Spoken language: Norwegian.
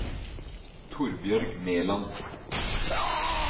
Torbjørg Meland